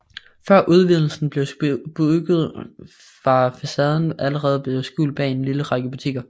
Før udvidelsen blev bygget var facaden allerede blevet skjult bag en lille række butikker